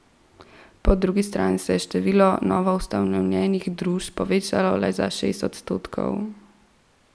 Po drugi strani se je število novoustanovljenih družb povečalo le za šest odstotkov.